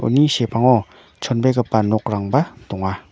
uni sepango chonbegipa nokrangba donga.